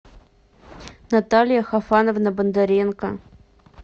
наталья хафановна бондаренко